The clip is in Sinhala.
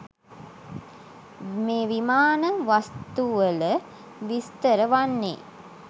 මේ විමාන වස්තුවල විස්තර වන්නේ